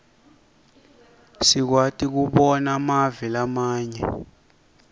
sikwati kobona mave lamanye